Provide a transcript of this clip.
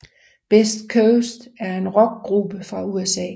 Best Coast er en Rockgruppe fra USA